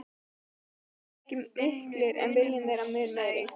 Kraftarnir voru ekki miklir en viljinn þeim mun meiri.